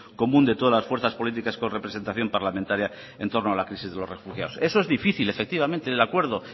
común de todas las fuerzas políticas con representación parlamentaria en torno a la crisis de los refugiados eso es difícil efectivamente de acuerdo